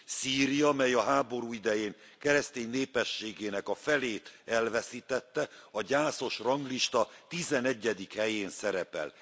Szíria, mely a háború idején keresztény népességének a felét elveszítette, a gyászos ranglista 11. helyén szerepel.